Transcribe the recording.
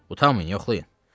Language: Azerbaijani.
Utanmayın yoxlayın.